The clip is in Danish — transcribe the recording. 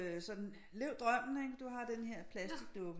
Øh sådan lev drømmen ikke du har den her plastikdukke